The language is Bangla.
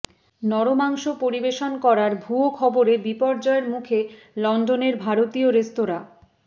নরমাংস পরিবেশন করার ভুয়ো খবরে বিপর্যয়ের মুখে লন্ডনের ভারতীয় রেস্তোরাঁ